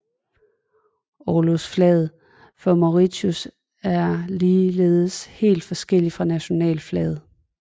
Orlogsflaget for Mauritius er ligeledes helt forskellig fra nationalflaget